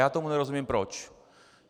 Já tomu nerozumím, proč.